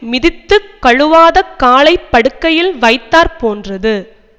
மிதித்துக் கழுவாதக் காலை படுக்கையில் வைத்தாற் போன்றது